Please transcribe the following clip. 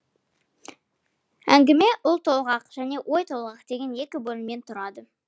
әңгіме ұлтолғақ және ойтолғақ деген екі бөлімнен тұрады